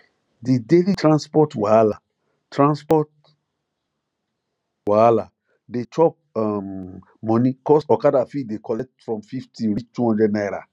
the daily transport wahala transport wahala dey chop um money cos okada fit dey collect from 50 reach 200 naira